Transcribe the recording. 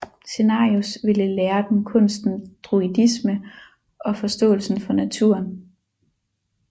Cenarius ville lære dem kunsten druidisme og forståelsen for naturen